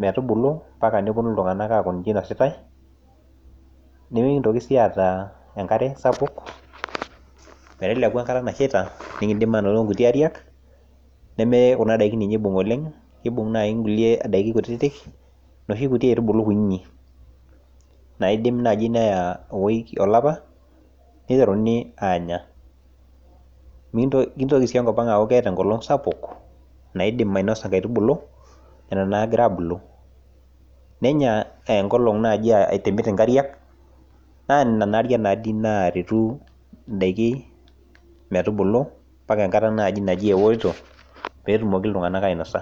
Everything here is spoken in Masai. metubulu. mpaka nepuonu iltunganak aaku ninche inositae. nimikintoki sii aata enkare sapuk. meteleku enkata nashita nikitum inkuti Ariak, neme ninye Kuna daikini ninye eibunng olenge. keibung naaji kulie daikini kutitik. inosho kitu aitubulu kutitik. naijo naaji olapa nieterunu aanya. nitoki sii enkop anga aaku keeta enkolong' sapuk naidim ainosa nkaitubulu. etom naa egira abulu. nenya enkolong' naaji aitobir inkariak. naa Nena Ariak naa dii naaretu nkaitubulu metubulu. mpaka enkata natumooki iltunganak ainosa.